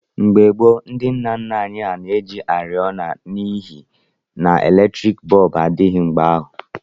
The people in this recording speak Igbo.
Mgbe gboo ndị nna nna anyị na-eji oriọna n'ihi n'eletriiki bọọbụ adịghị mgbe ahụ.